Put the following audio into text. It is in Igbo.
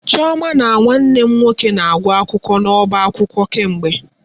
Chioma na Nwanne m nwoke na-agụ akwụkwọ n'ọba akwụkwọ kemgbe.